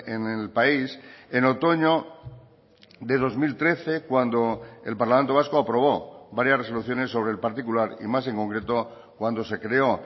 en el país en otoño de dos mil trece cuando el parlamento vasco aprobó varias resoluciones sobre el particular y más en concreto cuando se creó